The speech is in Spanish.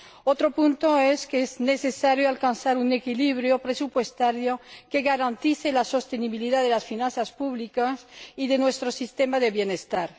Otro punto es que es necesario alcanzar un equilibrio presupuestario que garantice la sostenibilidad de las finanzas públicas y de nuestro sistema de bienestar.